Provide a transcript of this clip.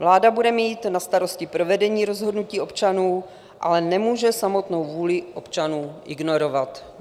Vláda bude mít na starosti provedení rozhodnutí občanů, ale nemůže samotnou vůli občanů ignorovat.